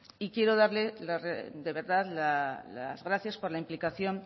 y quiero darle de verdad las gracias por la implicación